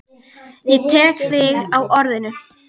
Ég tek þig á orðinu!